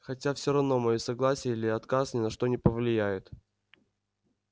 хотя всё равно моё согласие или отказ ни на что не повлияет